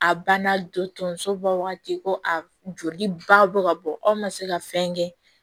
A banna dɔ tonso bɔ wagati ko a joli ba bɔ ka bɔ aw ma se ka fɛn kɛ